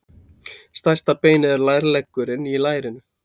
Stærsta beinið er lærleggurinn í lærinu.